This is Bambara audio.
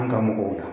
An ka mɔgɔw